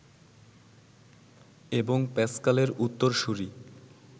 এবং প্যাস্কালের উত্তরসূরী